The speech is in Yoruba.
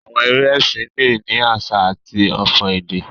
Àwọn eré ẹsìn le ni àsà àti ọfò èdè.